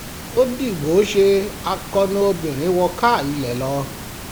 ó dìgbòóṣe akọni obìnrin wọ káa ilé lọ